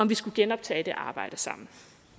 vi skulle genoptage det arbejde sammen